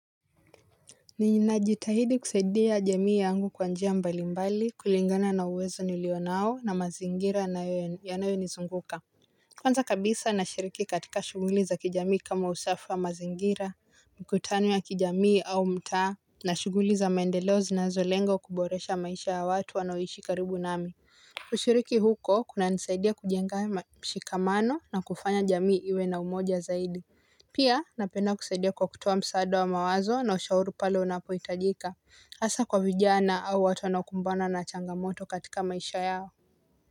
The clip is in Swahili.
Ninajitahidi kusaidia jamii yangu kwa njia mbali mbali, kulingana na uwezo nilionao na mazingira yanayo nizunguka. Kwanza kabisa nashiriki katika shuguli za kijamii kama usafi wa mazingira, mkutani ya kijamii au mtaa na shuguli za maendeleo zinazolengo kuboresha maisha ya watu wanaoishi karibu nami. Ushiriki huko, kunanisaidia kujenga mashikamano na kufanya jamii iwe na umoja zaidi. Pia, napenda kusaidia kwa kutoa msaada wa mawazo na ushauru pale unapohitajika. Asa kwa vijana au watu wanaokumbana na changamoto katika maisha yao.